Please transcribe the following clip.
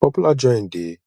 popular joint de